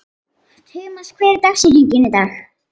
Tumas, hver er dagsetningin í dag?